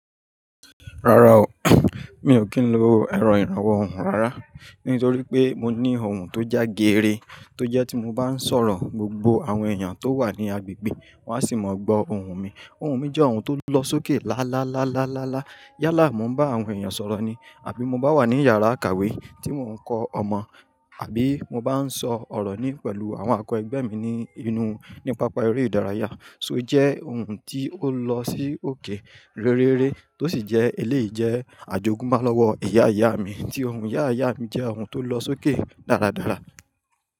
Rárá o mi ò kí ń lo èrọ ìrànwọ́ ohùn rárá, nítorí pé mo ní ohùn tó já gere, tó jẹ́ tí mo bá ń sọ̀rọ̀, gbogbo àwọn èèyàn tó wà ní agbègbè wa sì máa gbọ́ ohùn mi. Ohùn mi jẹ́ ohùn tó lọ sókè lálálálá. Yálà mo ń bá àwọn èèyàn sọ̀rọ̀ ni àbí mo bá wà ní yàrá ìkàwé tí mò ń kọ́ ọmọ, àbí mo bá ń sọ ọ̀rọ̀ ni pẹ̀lú àwọn àkọ́ ẹgbẹ́ mi ní inú ní pápá eré ìdárayá. So jẹ́ ohùn tí ó lọ sí òkè réréré tó sì jẹ́ eléyi jẹ́ àjogúnba lọ́wọ́ iyá ìyá mi tí ohùn Ìyá ìyá mi jẹ́ ohùn tó lọ sókè dáradára.